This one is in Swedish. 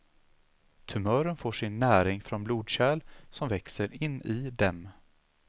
Tumörer får sin näring från blodkärl som växer in i dem.